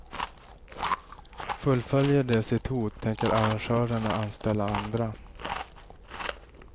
Fullföljer de sitt hot tänker arrangörerna anställa andra.